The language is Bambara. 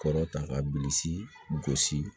Kɔrɔ ta ka bilisi gosi